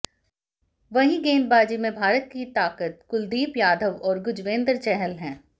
वहीं गेंदबाजी में भारत की ताकत कुलदीप यादव और युजवेंद्र चहल हैं